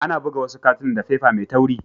Ana buga wasu katunan da fefa Mai tawri.